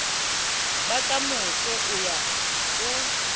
ba kamoso o ya o